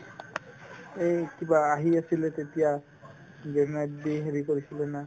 এই কিবা আহি আছিলে তেতিয়া grenade দি হেৰি কৰিছিলে না